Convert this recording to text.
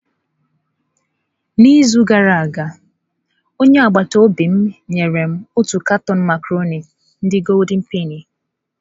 N’izu gara aga, onye agbata obi m nyere m otu katọn macarọnị ndi goldị penị.